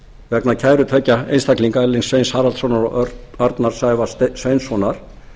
vegna kæru tveggja einstaklinga erlings sveins haraldssonar og arnar sævars sveinssonar